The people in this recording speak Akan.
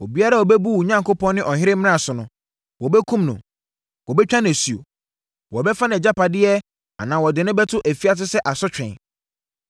Obiara a ɔbɛbu mo Onyankopɔn, ne ɔhene mmara so no, wɔbɛkum no, wɔbɛtwa no asuo, wɔbɛfa nʼagyapadeɛ anaa wɔde no bɛto afiase sɛ asotwe.